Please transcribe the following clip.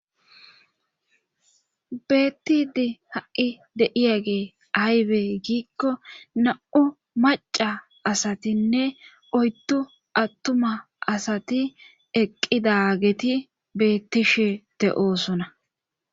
Bettidi ha'i deiya gee aybe giikko na;u maca asatinne oyttu attuma asati eqqidageti beettishe te oosona.